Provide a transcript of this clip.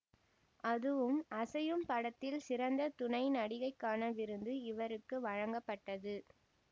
அதுவும் அசையும் படத்தில் சிறந்த துணை நடிகைக்கான விருது இவருக்கு வழங்கப்பட்டது